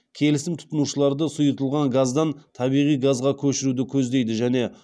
келісім тұтынушыларды сұйытылған газдан табиғи газға көшіруді көздейді және